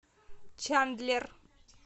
чандлер